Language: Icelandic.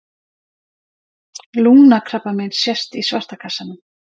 Lungnakrabbamein sést í svarta kassanum.